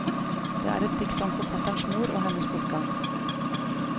Det er et dikt om forfatterens mor og hennes bortgang.